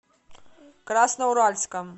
красноуральском